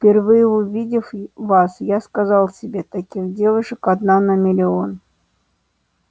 впервые увидев вас я сказал себе таких девушек одна на миллион